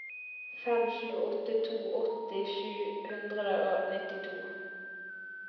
fem sju åtte to åtti sju hundre og nittito